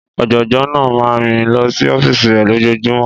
Ọ̀jọ̀gbọ́n náà máa ń rìn lọ sí ọ́fíìsì rẹ̀ lójoojúmọ́.